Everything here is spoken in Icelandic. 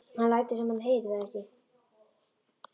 Hann lætur sem hann heyri það ekki.